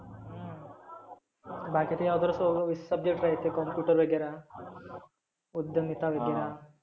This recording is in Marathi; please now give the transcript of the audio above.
बाकी ते others वगैरे subjects राहिते computer वगैरा. उद्यमवीता वगैरा.